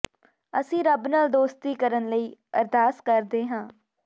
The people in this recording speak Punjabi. ਅਸੀਂ ਰੱਬ ਨਾਲ ਦੋਸਤੀ ਕਰਨ ਲਈ ਅਰਦਾਸ ਕਰਦੇ ਹਾਂ